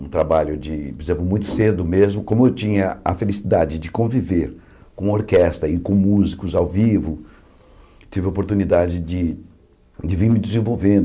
Um trabalho de, por exemplo, muito cedo mesmo, como eu tinha a felicidade de conviver com orquestra e com músicos ao vivo, tive a oportunidade de de vir me desenvolvendo.